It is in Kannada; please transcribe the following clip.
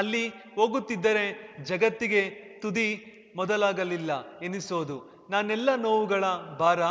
ಅಲ್ಲಿ ಹೋಗುತ್ತಿದ್ದರೆ ಜಗತ್ತಿಗೆ ತುದಿ ಮೊದಲಾಗಲಿಲ್ಲ ಎನ್ನಿಸೋದು ನನ್ನೆಲ್ಲಾ ನೋವುಗಳ ಭಾರ